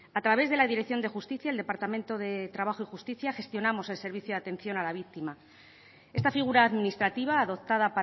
a través de la dirección de justicia el departamento de trabajo y justicia gestionamos el servicio de atención a la víctima esta figura administrativa adoptada